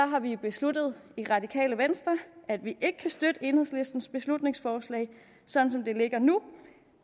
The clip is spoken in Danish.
har vi besluttet i det radikale venstre at vi ikke kan støtte enhedslistens beslutningsforslag sådan som det ligger nu